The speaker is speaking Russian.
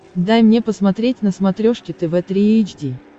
дай мне посмотреть на смотрешке тв три эйч ди